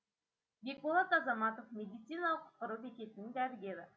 бекболат азаматов медициналық құтқару бекетінің дәрігері